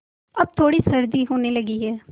अब थोड़ी सर्दी होने लगी है